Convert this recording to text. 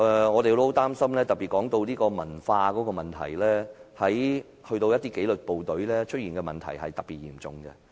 我們很擔心這種文化問題，而在紀律部隊出現的這種問題尤其嚴重。